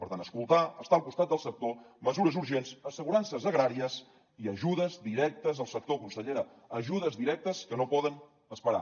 per tant escoltar estar al costat del sector mesures urgents assegurances agràries i ajudes directes al sector consellera ajudes directes que no poden esperar